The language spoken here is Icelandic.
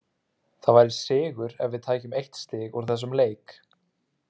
Það væri sigur ef við tækjum eitt stig úr þessum leik.